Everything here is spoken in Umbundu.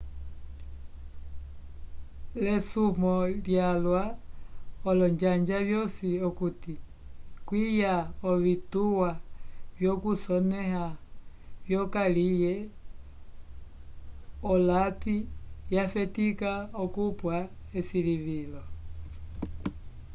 l'esumwo lyalwa olonjanja vyosi okuti kwiya ovituwa vyokusonẽha vyokaliye olapi yafetika okupwa esilivilo